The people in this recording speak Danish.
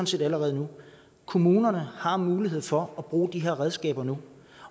set allerede nu kommunerne har mulighed for at bruge de her redskaber nu